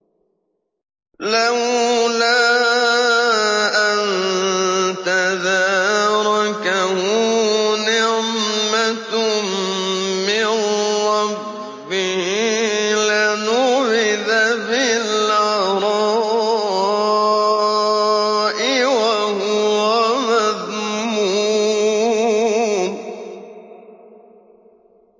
لَّوْلَا أَن تَدَارَكَهُ نِعْمَةٌ مِّن رَّبِّهِ لَنُبِذَ بِالْعَرَاءِ وَهُوَ مَذْمُومٌ